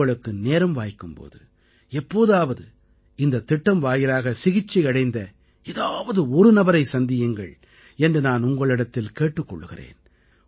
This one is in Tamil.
உங்களுக்கு நேரம் வாய்க்கும் போது எப்போதாவது இந்தத் திட்டம் வாயிலாக சிகிச்சை அடைந்த ஏதாவது ஒரு நபரைச் சந்தியுங்கள் என்று நான் உங்களிடத்தில் கேட்டுக் கொள்கிறேன்